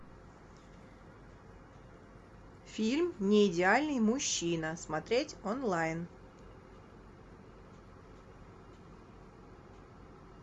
фильм неидеальный мужчина смотреть онлайн